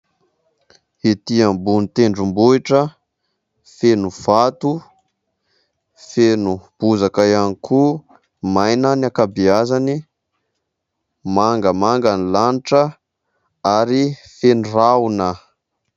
Ety ambony tendrombohitra feno vato, feno bozaka ihany koa, maina ny ankabeazany. Mangamanga ny lanitra ary feno rahona.